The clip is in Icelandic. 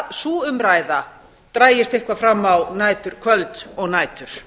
sú umræða dragist eitthvað fram á næturkvöld og nætur